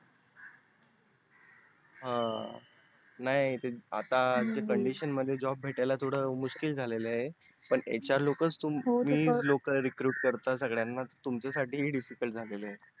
हा नाही ते आताच्या Condition मध्ये job भेटायला थोड मुश्किल झाल आहे पण HR लोक करतात Recruit सगळ्यांना तुमच्या साठी ही difficult झालेल आहे